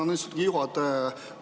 Tänan, istungi juhataja!